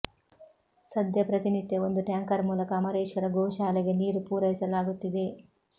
ಸದ್ಯ ಪ್ರತಿನಿತ್ಯ ಒಂದು ಟ್ಯಾಂಕರ್ ಮೂಲಕ ಅಮರೇಶ್ವರ ಗೋ ಶಾಲೆಗೆ ನೀರು ಪೂರೈಸಲಾಗುತ್ತಿದೆ